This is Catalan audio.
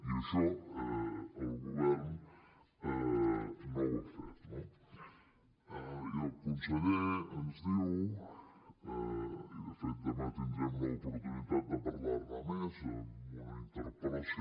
i això el govern no ho ha fet no i el conseller ens diu i de fet demà tindrem l’oportunitat de parlar ne més amb una interpel·lació